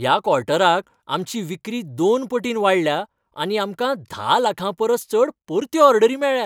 ह्या क्वॉर्टराक आमची विक्री दोन पटीन वाडल्या आनी आमकां धा लाखां परस चड परत्यो ऑर्डरी मेळ्ळ्यात.